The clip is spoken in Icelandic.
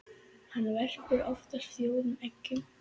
Hann verpir oftast fjórum eggjum.